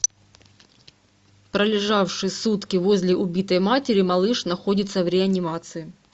пролежавший сутки возле убитой матери малыш находится в реанимации